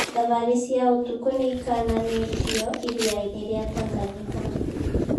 Thabarĩ cia ũtukũ nĩikananĩtio iria-inĩ rĩa Tanganyika